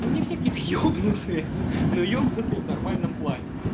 они все какие-то ёбнутые но ёбнутые это в нормальном плане